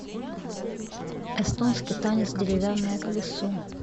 эстонский танец деревянное колесо